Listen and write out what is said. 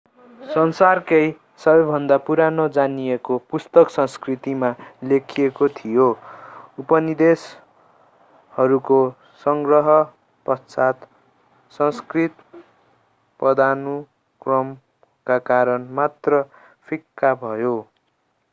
संसारको सबैभन्दा पुरानो जानिएको पुस्तक संस्कृतमा लेखिएको थियो उपनिषदहरूको संग्रह पश्चात संस्कृत पदानुक्रमका कारण मात्र फिक्का भयो